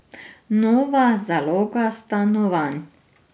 Nova zaloga stanovanj.